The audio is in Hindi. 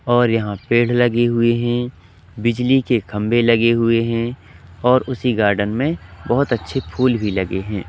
और यहां पेड़ लगे हुएं हैं बिजली के खंभे लगे हुएं हैं और उसी गार्डन में बोहोत अच्छे फूल भी लगे हैं।